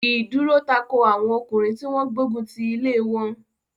He dúró tako àwọn ọkùnrin tí wọ́n gbógun ti ilé wọn.